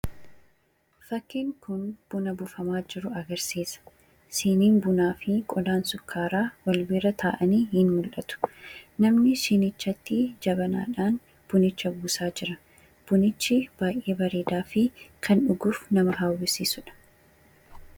Fakkiin kun buna buufamaa jiru agarsiisa. Siiniin bunaa fi qodaan sukkaaraa wal bira taa'anii jiru. Namni siinicha keessatti jabanaadhaan buna buusaa jira. Bunichi baay'ee bareedaa fi kan dhuguuf nama hawwisiisudha.